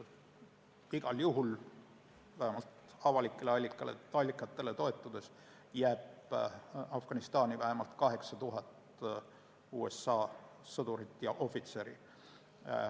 Igal juhul, vähemalt avalikele allikatele toetudes, jääb Afganistani 8000 USA sõdurit ja ohvitseri.